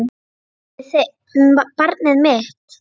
Barnið mitt.